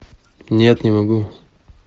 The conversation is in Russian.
нет не могу